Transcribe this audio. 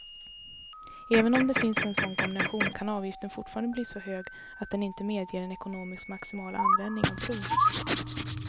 Även om det finns en sådan kombination kan avgiften fortfarande bli så hög att den inte medger en ekonomiskt maximal användning av bron.